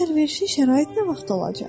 Bəs əlverişli şərait nə vaxt olacaq?